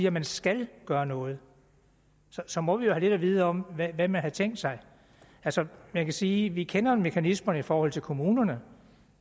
at man skal gøre noget så må vi jo have lidt at vide om hvad man havde tænkt sig sig man kan sige at vi kender mekanismerne i forhold til kommunerne